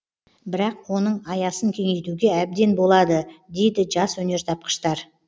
бірақ оның аясын кеңейтуге әбден болады дейді жас өнертапқыштар